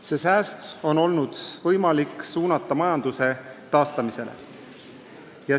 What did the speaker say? Sel viisil säästetud summad on olnud võimalik suunata majanduse taastamisele.